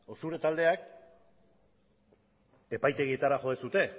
zure taldeak epaitegietara jo duzue